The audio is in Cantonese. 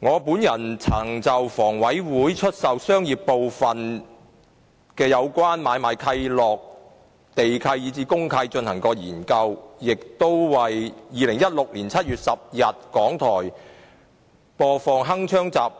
我曾就香港房屋委員會出售商業部分的有關買賣契諾、地契及公契進行研究，亦曾為2016年7月10日的香港電台節目"鏗鏘